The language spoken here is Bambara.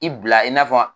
I bila i n'a fɔ